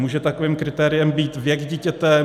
Může takovým kritériem být věk dítěte?